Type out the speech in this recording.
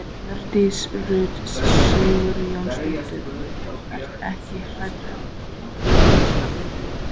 Hjördís Rut Sigurjónsdóttir: Þú ert ekkert hræddur um hlutastarfið þitt?